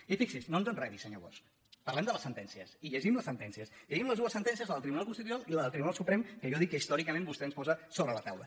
i no ens enredi senyor bosch parlem de les sentèn·cies i llegim les sentències llegim les dues sentències la del tribunal constitucional i la del tribunal su·prem que jo dic que històricament vostè ens posa so·bre la taula